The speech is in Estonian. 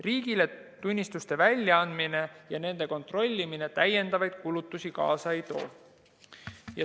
Riigile tunnistuste väljaandmine ja nende kontrollimine täiendavaid kulutusi kaasa ei too.